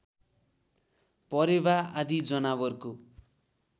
परेवा आदि जनावरको